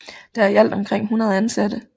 Der er i alt omkring 100 ansatte